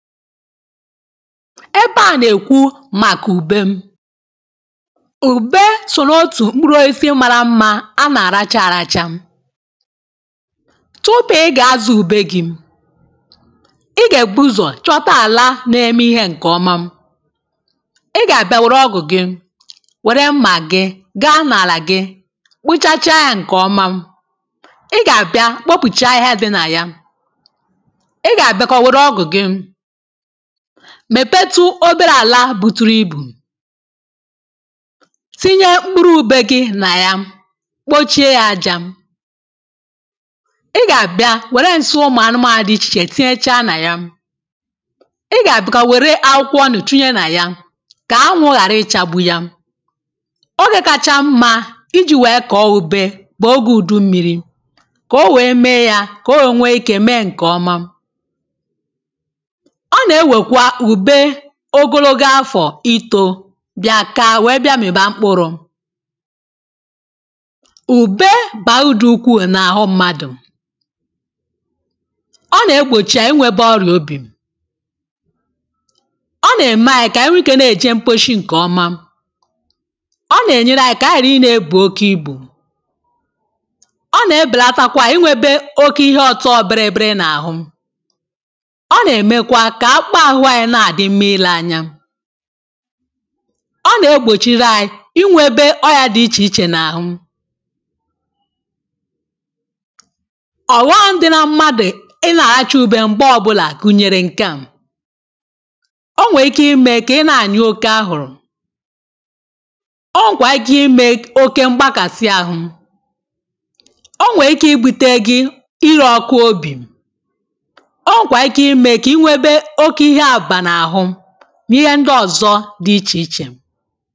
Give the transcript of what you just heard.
Ebe a nà-èkwu màkà ùbe: ùbe sòò n'otù mkpụrụ osisi mara mma a nà-àra chȧ arȧchȧ. Tupu ị gà-àzụ ùbe gì, ị gà-èbù ụzọ̀ chọta àlà na-eme ihe ǹkè ọma, ị gà-àbịa wère ọgụ̀ gị, wère mmà gị, gaa n’àlà gị kpụchacha yȧ ǹkè ọma, ị gà-àbịa kpopùchaa ahihia di̇ nà ya, ị gà-àbịakwa wère ọgụ̀ gị, mèpetu obere àla bùturu ibù tinye mkpụrụ ube gi nà ya, kpochie ya ajȧ. ị gà-àbịa wère nsị ụmụ anụmȧnụ dị ichè tinyechaa nà ya. ị gà-àbịa kwà wère akwụkwọ ọnụ tinye nà ya kà anwụ ghàra ichagbu ya. Ogė kacha mma iji̇ wèe kọ̀ọ ùbe bụ̀ ogè ùdummịrị, kà o wèe mee ya kà o wèe nwee ike mee ǹkè ọma. ọ nà-ewèkwa ùbe ogologo àfọ̀ itȯ bịa kàa wee bịa m̀ịba mkpụrụ. ùbe bà udù ukwuu n’àhụ mmadụ̀. ọ nà-egbòchì ànyi inwėbė ọrụ̀ obì, ọ nà-ème ànyi kà nwe ikė nà-èje mkposhi ǹkè ọma, ọ nà-ènyere ànyi kà ànyi ghàra i nà-ebù oke ibù, ọ nà-ebelatakwa inwėbe oke ihe ọtọo birì birì n’àhụ, ọ nà-emèkwa ka-okpa ahụ anyị na adi nmȧ Ile anya. ọ na-egbochiri anyị inwebe ọyịa dị iche iche na ahụ. ọghom dị na-mmadụ ị na-alacha ube mgbe ọbụlà gụnyere nke à; o nwere ike ime ka ị na-anyu oke ahụrụ, o nwekwara ike ime oke mgbakasị ahụ, o nwere ike ibute gị ịre-ọkụ n'obì, o nwekwara ike ime ka i nwėbe oke ihe abuba n'ahu, n’ihe ndị ọ̀zọ dị ichè ichè.